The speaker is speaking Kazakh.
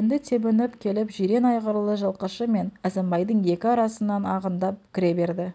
енді тебініп келіп жирен айғырлы жылқышы мен әзімбайдың екі арасынан ағындап кіре берді